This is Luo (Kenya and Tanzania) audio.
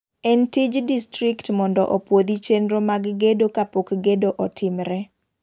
En tij distrikt mondo opuodhi chenro mag gedo kapok gedo otimre.